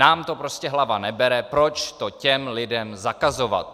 Nám to prostě hlava nebere, proč to těm lidem zakazovat.